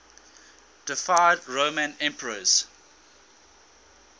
deified roman emperors